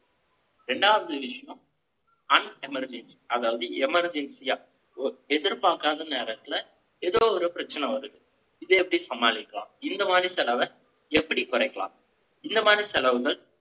இரண்டாவது விஷயம், unemergency அதாவது emergency ஆ, எதிர்பார்க்காத நேரத்துல, ஏதோ ஒரு பிரச்சனை வருது. இதை எப்படி சமாளிக்கலாம்? இந்த மாதிரி செலவை, எப்படி குறைக்கலாம் இந்த மாதிரி செலவுகள்,